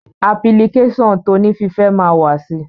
Apilikéṣọ̀n toní fífẹ́ ma wà sì